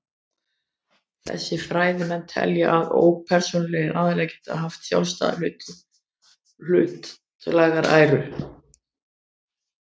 Þessir fræðimenn telja að ópersónulegir aðilar geti haft sjálfstæða hlutlæga æru.